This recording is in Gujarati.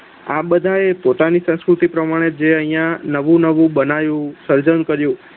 આ બધાયે પોતાની સાસ્કૃતિ પ્રમાણે જે અહિયાં નવું નવું બનાવ્યું સર્જન કર્યું.